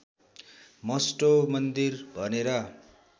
Mustoe मन्दिर भनेर